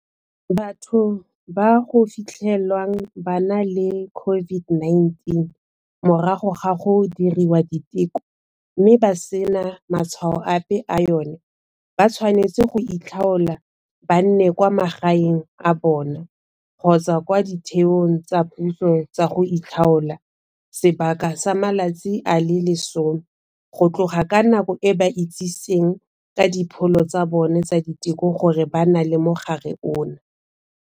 Batho ba go fitlhelwang ba na le COVID-19 morago ga go diriwa diteko, mme ba sena matshwao ape a yona, ba tshwanetse goitlhaola ba nne kwa magaeng a bona kgotsa kwa ditheong tsa puso tsa go itlhaola sebaka sa matsatsi a le 10, go tloga ka nako e ba itsitseng ka dipholo tsa bona tsa diteko gore ba na le mogare ono.